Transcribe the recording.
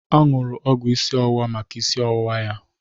O nuru ọgwụ isi ọwụwa maka isi ọwụwa ya.